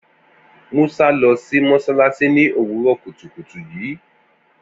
Musa lọ sí mọ́ṣáláṣí ní òwúrọ̀ kùtùkùtù yìí